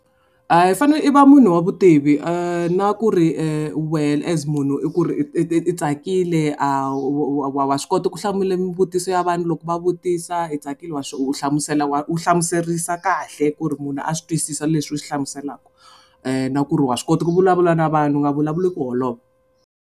I fane i va munhu wa vutivi na ku ri wehe as munhu i ku ri i tsakile a wa wa wa swi kota ku hlamula mivutiso ya vanhu loko va vutisa i tsakile wa u hlamusela wa u hlamuserisa kahle ku ri munhu a swi twisisa leswi u swi hlamuselaka. Na ku ri wa swi kota ku vulavula na vanhu u nga vulavuli ku holova.